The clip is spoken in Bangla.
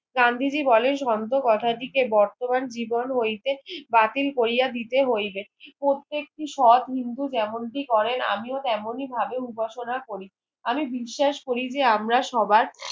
গান্ধীজি বলেন সন্ত কথাটিকে বর্তমান জীবন হইতে বাতিল কোরিয়া দিতে হইলে প্রত্যেকটি সৎ নিন্দুক যেমন টি করেন আমিও তেমনি ভাবে উপাসনা করি আমি বিশ্বাস করিবে আমরা সবার